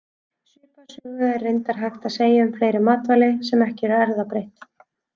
Svipaða sögu er reyndar hægt að segja um fleiri matvæli, sem ekki eru erfðabreytt.